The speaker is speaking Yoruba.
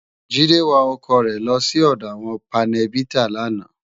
Jide wá òkò re lò si òdò áwòn pánèbitá làná